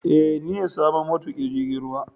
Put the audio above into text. Ee, ni ne sabon matukin jirgin ruwa